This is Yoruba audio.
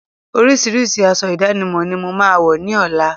Orísirísi aṣọ ìdánimọ̀ ni mo máa wọ̀ ní ọ̀la